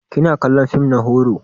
Kina kallon fim na horo?